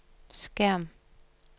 skærm